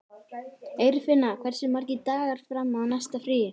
Eirfinna, hversu margir dagar fram að næsta fríi?